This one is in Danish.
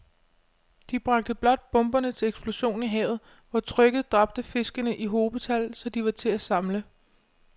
De bragte blot bomberne til eksplosion i havet, hvor trykket dræbte fiskene i hobetal, så de var til at samle